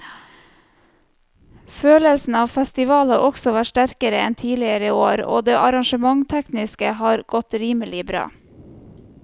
Følelsen av festival har også vært sterkere enn tidligere år og det arrangementstekniske har godt rimelig bra.